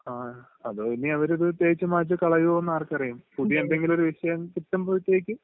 ങാ..അതോ ഇനി അവരത് തേച്ചുമാച്ചു കളയുമോ നു ആർക്കറിയാം! പുതിയ എന്തെങ്കിലും ഒരു വിഷയം കിട്ടുമ്പോഴത്തേക്ക്...